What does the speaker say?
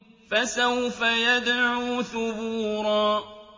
فَسَوْفَ يَدْعُو ثُبُورًا